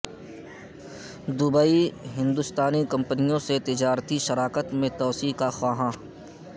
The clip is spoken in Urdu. دبئی ہندوستانی کمپنیوں سے تجارتی شراکت میں توسیع کا خواہاں